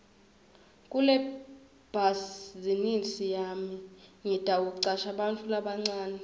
kulebhazinisi yami ngitawucasha bantfu labancane